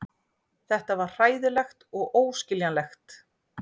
Þetta var hræðilegt og óskiljanlegt.